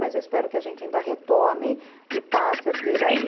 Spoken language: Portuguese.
Mas eu espero que a gente ainda retome e passe a ter aí